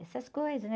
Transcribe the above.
Essas coisas, né?